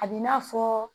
A b'i n'a fɔ